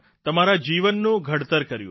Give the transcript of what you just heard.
તમારા જીવનનું ઘડતર કર્યું